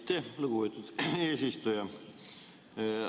Aitäh, lugupeetud eesistuja!